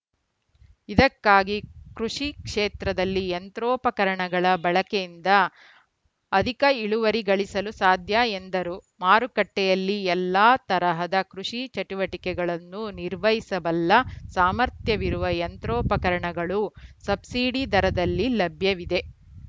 ಇದಕ್ಕಾಗಿ ಕೃಷಿ ಕ್ಷೇತ್ರದಲ್ಲಿ ಯಂತ್ರೋಪಕರಣಗಳ ಬಳಕೆಯಿಂದ ಅಧಿಕ ಇಳುವರಿ ಗಳಿಸಲು ಸಾಧ್ಯ ಎಂದರು ಮಾರುಕಟ್ಟೆಯಲ್ಲಿ ಎಲ್ಲಾ ತರಹದ ಕೃಷಿ ಚಟುವಟಿಕೆಗಳನ್ನು ನಿರ್ವಹಿಸಬಲ್ಲ ಸಾಮರ್ಥ್ಯವಿರುವ ಯಂತ್ರೋಪಕರಣಗಳು ಸಬ್ಸಿಡಿ ದರದಲ್ಲಿ ಲಭ್ಯವಿದೆ